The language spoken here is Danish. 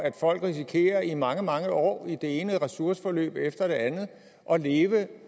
at folk risikerer i mange mange år i det ene ressourceforløb efter det andet at leve